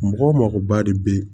Mɔgɔ makoba de bɛ ye